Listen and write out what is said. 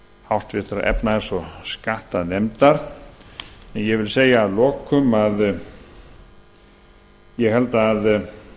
háttvirtrar efnahags og skattanefndar en ég vil segja að lokum að ég held að